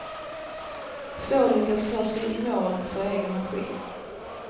Få lyckas ta sig i mål för egen maskin.